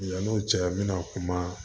Yann'o cɛ n bɛna kuma